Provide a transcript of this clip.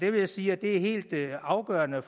vil sige at det er helt afgørende